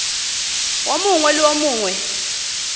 wo mongwe le wo mongwe